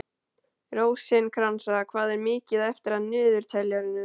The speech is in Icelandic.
Rósinkransa, hvað er mikið eftir af niðurteljaranum?